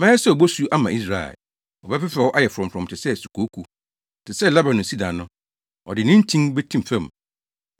Mɛyɛ sɛ obosu ama Israel. Ɔbɛfefɛw ayɛ frɔmfrɔm te sɛ sukooko. Te sɛ Lebanon sida no, ɔde ne ntin betim fam;